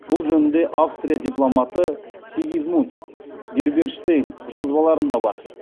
бұл жөнінде австрия дипломаты сигизмунд герберштейн жазбаларында бар